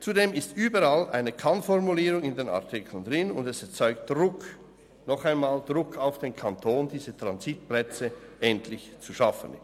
Zudem steht überall eine Kann-Formulierung in den Artikeln drin, und dies erzeugt Druck, noch einmal Druck auf den Kanton, diese Transitplätze endlich zu schaffen.